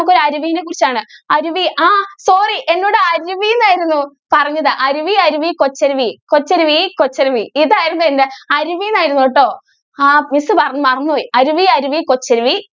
നമുക്ക് ഒരു അരുവിനെ കുറിച്ച് ആണ് അരുവി. ആ sorry എന്നോട് അരുവി എന്നായിരുന്നു പറഞ്ഞത് അരുവി അരുവി കൊച്ചരുവി കൊച്ചരുവി കൊച്ചരുവി ഇതായിരുന്നു എൻ്റെ അരുവി എന്നായിരുന്നു കേട്ടോ ആ miss മറന്നുപോയി അരുവി അരുവി കൊച്ചരുവി